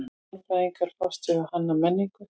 Mannfræðingar fást við kanna menningu.